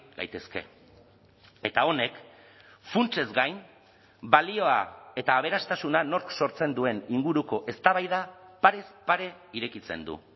daitezke eta honek funtsez gain balioa eta aberastasuna nork sortzen duen inguruko eztabaida parez pare irekitzen du